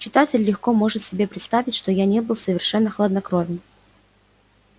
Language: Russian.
читатель легко может себе представить что я не был совершенно хладнокровен